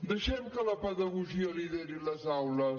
deixem que la pedagogia lideri les aules